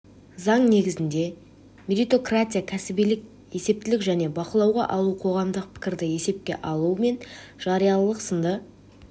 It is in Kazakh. заң негізінде меритократия кәсібилік есептілік және бақылауға алу қоғамдық пікірді есепке алу мен жариялылық сынды